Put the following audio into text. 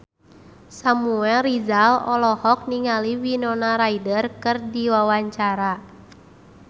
Samuel Rizal olohok ningali Winona Ryder keur diwawancara